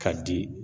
K'a di